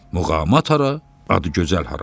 Muğamat hara, Adıgözəl hara.